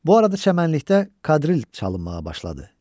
Bu arada çəmənlikdə kadril çalınmağa başladı.